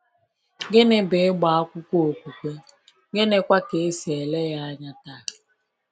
Gịnị bụ ịgba akwụkwọ okwukwe, gịnịkwa ka e si ele ya anya taa?